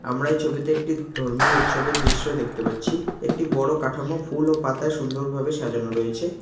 আমরা এই ছবিতে একটি ধর্মীয় উৎসবের দৃশ্য দেখতে পাচ্ছি একটি বড়ো কাঠামো ফুল ও পাতায় সুন্দরভাবে সাজানো রয়েছে।